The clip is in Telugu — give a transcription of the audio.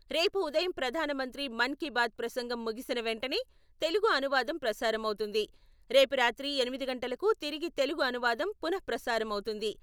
రేపు ఉదయం ప్రధానమంత్రి మన్ కీ బాత్ ప్రసంగం ముగిసిన వెంటనే తెలుగు అనువాదం ప్రసారమవుతుంది. రేపు రాత్రి ఎనిమిది గంటలకు తిరిగి తెలుగు అనువాదం పునః ప్రసారం అవుతుంది.